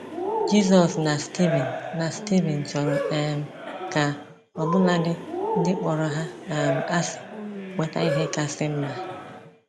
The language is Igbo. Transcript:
Jizọs na Stivin na Stivin chọrọ um ka ọbụladi ndị kpọrọ ha um asị nweta ihe kasị mma.